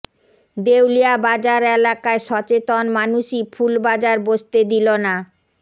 দেউলিয়া বাজার এলাকায় সচেতন মানুষই ফুল বাজার বসতে দিল না